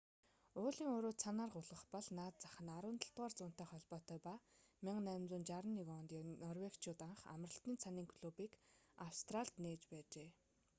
уулын уруу цанаар гулгах бол наад зах нь 17-р зуунтай холбоотой ба 1861 онд норвегичууд анх амралтын цанын клубыг австралид нээж байжээ